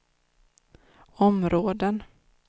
områden